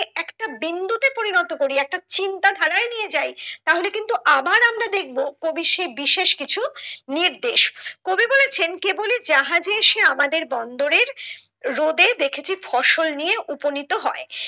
একটা বিন্দুতে পরিণত করি একটা চিন্তা ধারায় নিয়ে যাই তাহলে কিন্তু আবার আমরা দেখবো কবি সে বিশেষ কিছু নির্দেশ কবি বলেছেন কেবলি জাহাজে সে আমাদের বন্দরের রোদে দেখেছি ফসল নিয়ে উপনীত হয়